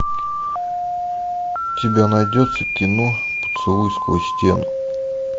у тебя найдется кино поцелуй сквозь стену